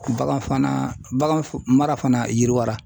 Bagan fana baganfumara fana yiriwala.